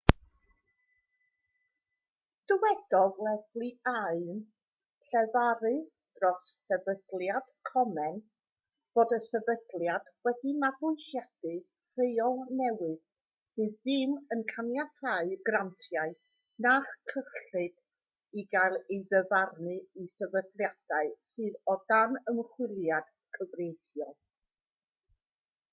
dywedodd leslie aun llefarydd dros sefydliad komen fod y sefydliad wedi mabwysiadu rheol newydd sydd ddim yn caniatáu grantiau na chyllid i gael ei ddyfarnu i sefydliadau sydd o dan ymchwiliad cyfreithiol